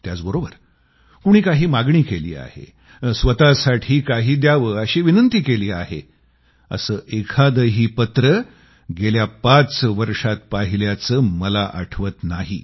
त्याचबरोबर कोणी काही मागणी केलीय स्वतःसाठी काही द्यावं अशी विनंती केलीय असं एखादंही पत्र गेल्या पाच वर्षात पाहिल्याचं मला आठवत नाही